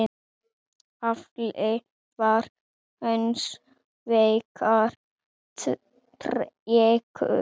Afli var hins vegar tregur.